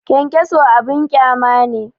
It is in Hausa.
Kyankyaso abin ƙyama ne